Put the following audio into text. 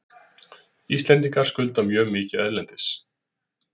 Íslendingar skulda mjög mikið erlendis.